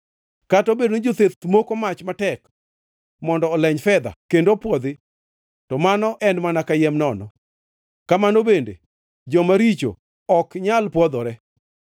Kata obedo ni jotheth moko mach matek mondo oleny fedha, kendo opwodhi, to mano en mana kayiem nono; kamano bende joma richo ok nyal pwodhore.